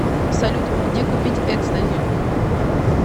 салют где купить экстази